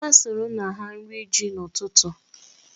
Ha sụrụ nna ha nri ji n'ụtụtụ.